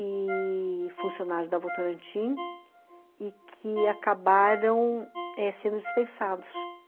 e funcionários da Votorantim, e que acabaram é sendo dispensados.